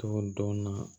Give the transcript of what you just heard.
Tugu dɔɔni